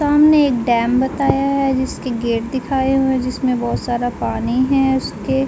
सामने एक डैम बताया है जिसके गेट दिखाया हुआ है जिसमे बोहोत सारा पानी है उसके --